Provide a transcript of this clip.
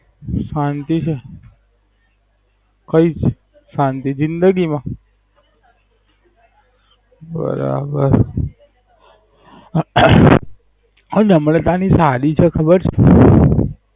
શાંતિ છે. કય જ શાંતિ જિંદગી મા. બરાબર આ નમ્રતા ની સાદી છે ખબર છે?